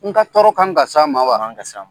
N ka tɔɔrɔ kan ka s'a ma wa? A man kan ka s'a ma.